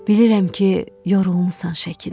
Bilirəm ki, yorulmusan şəkildə.